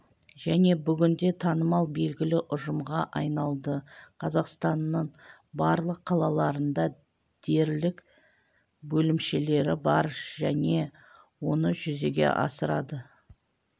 және бүгінде танымал белгілі ұжымға айналды қазақстанның барлық қалаларында дерлік бөлімшелері бар және оны жүзеге асырады